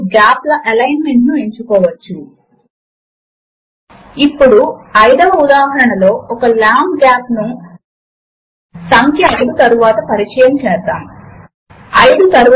formula editor window పైన right click చేసి మరియు అక్కడ ఉన్న సింబాల్స్ ను సెలెక్ట్ చేసుకోవడము ద్వారా కూడా మనము ఒక సూత్రమును వ్రాయవచ్చు